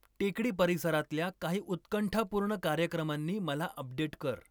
टेकडी परिसरातल्या काही उत्कंठापूर्ण कार्यक्रमांनी मला अपडेट कर.